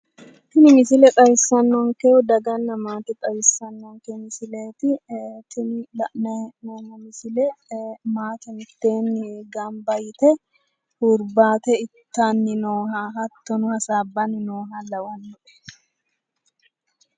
Tini misile xawissannonkehu daganna maate xawissanonke misileeti, tini la'nayi hee'noommo misile maate mittee gamba yite hurbaate itaay nooha hattono hasaabbay nooha lawanno